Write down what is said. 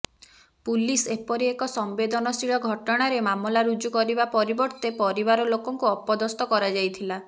police ଏପରି ଏକ ସମ୍ୱେଦନଶୀଳ ଘଟଣାରେ ମାମଲା ରୁଜୁ କରିବା ପରିବର୍ତ୍ତେ ପରିବାର ଲୋକଙ୍କୁ ଅପଦସ୍ଥ କରାଯାଇଥିଲା